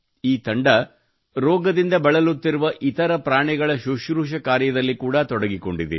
ಈ ತಂಡವು ರೋಗದಿಂದ ಬಳಲುತ್ತಿರುವ ಇತರ ಪ್ರಾಣಿಗಳ ಶುಶ್ರೂಷೆ ಕಾರ್ಯದಲ್ಲಿ ಕೂಡಾ ತೊಡಗಿಕೊಂಡಿದೆ